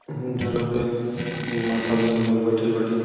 जौना पे माता बहिनी लोग बइठल बाड़ीन।